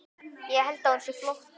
Held að hún sé flótti.